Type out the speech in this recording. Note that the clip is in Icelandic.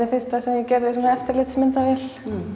fyrsta sem ég gerði með eftirlitsmyndavél